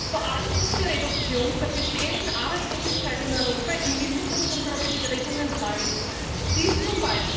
Vor allem muss die Reduktion der bestehenden Arbeitslosigkeit in Europa im Mittelpunkt unserer Bestrebungen bleiben,